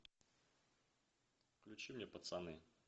включи мне пацаны